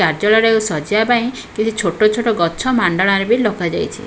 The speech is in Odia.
କାର୍ଯ୍ୟଳୟଟାକୁ ସଜେଇବା ପାଇଁ କିଛି ଛୋଟ ଛୋଟ ଗଛ ମାଣ୍ଡଣାରେ ବି ଲଗା ଯାଇଚି।